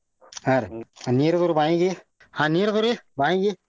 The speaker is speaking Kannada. ಹಾ ರೀ ನೀರ ಅದು ರೀ ಬಾವಿಗೆ ಹ ನೀರ ಬಾವಿಗೆ.